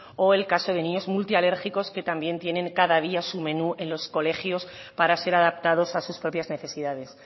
o el caso de niños multialérgicos que también tienen cada día su menú en los colegios para ser adaptados a sus propias necesidades